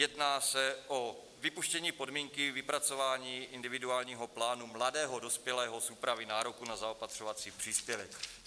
Jedná se o vypuštění podmínky vypracování individuálního plánu mladého dospělého z úpravy nároku na zaopatřovací příspěvek.